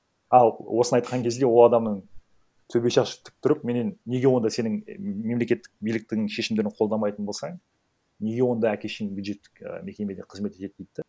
ал осыны айтқан кезде ол адамның төбе шашы тік тұрып менен неге онда сенің мемлекеттік биліктің шешімдерін қолдамайтын болсаң неге онда әке шешең бюджеттік і мекемеде кызмет етеді дейді да